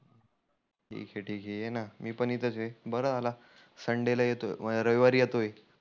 ठिक ठिक आहे येना. मी पण इथच आहे बरं झालं संडेला येतोय रविवारी येतोय.